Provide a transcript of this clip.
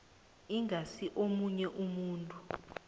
ingasi omunye umuntu